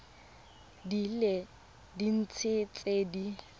di le dintsi tse di